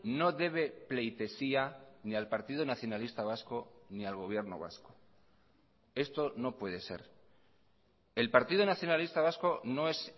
no debe pleitesía ni al partido nacionalista vasco ni al gobierno vasco esto no puede ser el partido nacionalista vasco no es